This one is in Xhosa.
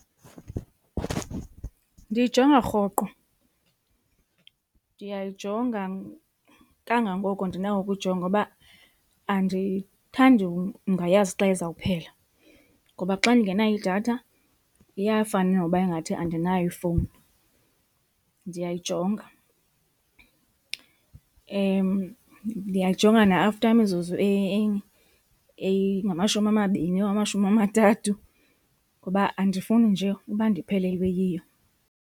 Ndiyijonga rhoqo. Ndiyayijonga kangangoko ndinako ukuyijonga ngoba andiyithandi ungayazi xa izawuphela ngoba xa ndingenayo idatha iyafana noba ingathi andinayo ifowuni. Ndiyayijonga, ndiyayijonga na after imizuzu eyingamashumi amabini or amashumi amathathu ngoba andifuni nje uba ndiphelelwe yiyo.